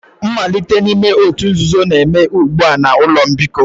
Mmalite n'ime òtù nzuzo na-eme ugbu a na ụlọ mbikọ